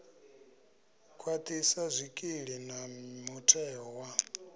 khwaṱhisa zwikili na mutheo wa